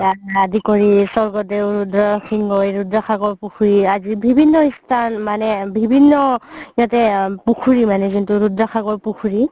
আদি কৰি স্বৰ্গদেও ৰুদ্ৰ সিংহই ৰুদ্ৰ সাগৰ পুখুৰী আজি বিভিন্ন স্থান মানে বিভিন্ন সিহতে পুখুৰী মানে যোনটো ৰুদ্ৰ সাগৰ পুখুৰী